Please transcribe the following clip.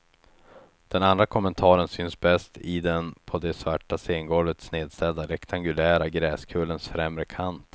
Den andra kommentaren syns bäst i den på det svarta scengolvet snedställda rektangulära gräskullens främre kant.